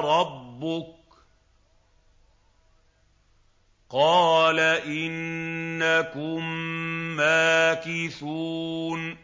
رَبُّكَ ۖ قَالَ إِنَّكُم مَّاكِثُونَ